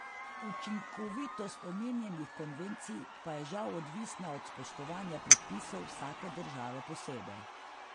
Učinkovitost omenjenih konvencij pa je žal odvisna od spoštovanja predpisov vsake države posebej.